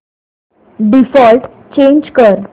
default change कर